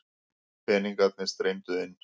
Peningarnir streymdu inn.